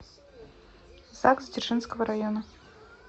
загс дзержинского района